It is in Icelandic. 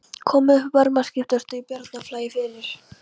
Komið upp varmaskiptastöð í Bjarnarflagi fyrir